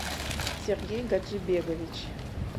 сергей гаджибекович